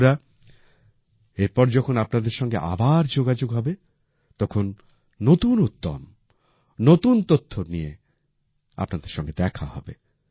বন্ধুরা এরপর যখন আপনাদের সঙ্গে আবার যোগাযোগ হবে তখন নতুন উদ্যম নতুন তথ্য নিয়ে আপনাদের সঙ্গে দেখা হবে